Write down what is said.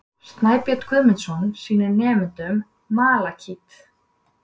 Snæbjörn Guðmundsson sýnir nemendum malakít.